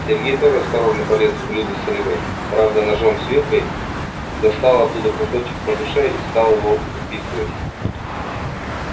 сергей тоже осторожно полез в блюдо с рыбой правда ножом с вилкой достал оттуда кусочек по душе и стал его уписывать